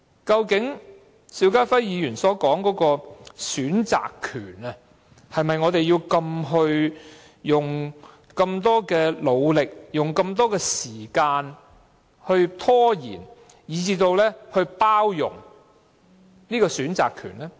究竟邵家輝議員所說的選擇權，是否值得我們花這般努力和時間來拖延，以至包容這個選擇權呢？